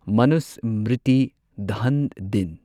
ꯃꯅꯨꯁꯃ꯭ꯔꯤꯇꯤ ꯗꯍꯟ ꯗꯤꯟ